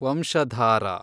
Vamsadhara